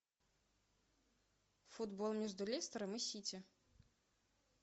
футбол между лестером и сити